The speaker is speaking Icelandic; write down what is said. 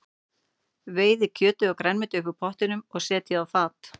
Veiðið kjötið og grænmetið upp úr pottinum og setjið á fat.